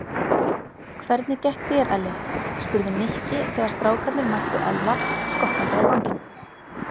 Hvernig gekk þér Elli? spurði Nikki þegar strákarnir mættu Ella skokkandi á ganginum.